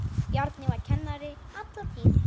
Bjarni var kennari alla tíð.